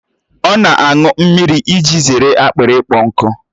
Ọ na aṅụ mmiri iji zere akpịrị ịkpọ nkụ